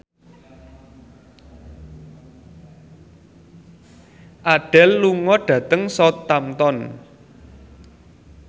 Adele lunga dhateng Southampton